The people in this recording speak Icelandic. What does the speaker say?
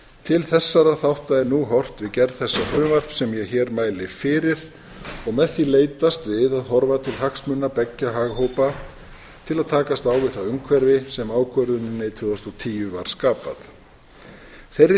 til þessara þátta er nú horft við gerð þessa frumvarps sem ég hér mæli fyrir og með því leitast við að horfa til hagsmuna beggja haghópa til að takast á við það umhverfi sem ákvörðuninni tvö þúsund og tíu var skapað þeirri